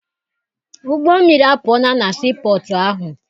Ụgbọmmiri apụọla na sii pọtụ ahụ.